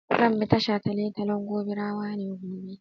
Zan bi ta shataletalen Gobirawa ne gobe.